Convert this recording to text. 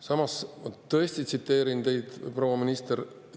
Samas, ma tõesti tsiteerin teid, proua minister.